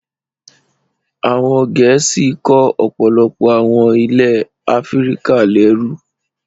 Àwọn Gẹ̀ẹ́sì kó ọ̀pọ̀lọpọ̀ àwọn ilẹ̀ Áfíríkà lẹ́rú.